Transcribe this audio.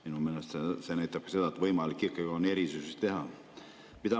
Minu meelest see näitabki seda, et on võimalik erisusi teha.